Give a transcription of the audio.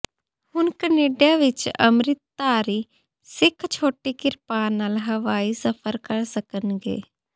ਹੁਣ ਕੈਨੇਡਾ ਵਿੱਚ ਅੰਮ੍ਰਿਤਧਾਰੀ ਸਿੱਖ ਛੋਟੀ ਕਿਰਪਾਨ ਨਾਲ ਹਵਾਈ ਸਫਰ ਕਰ ਸਕਣਗੇ